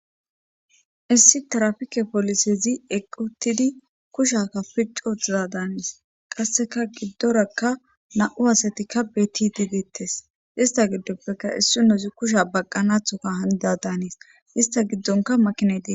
issi tarafike polisezi equtidi kushaka piccootiza daanis qasseka giddorakka na7u asatikka btidigeettes ista giddoppeka issu nozi kusha baqqanathoka hanida daanis ista giddonka makinedee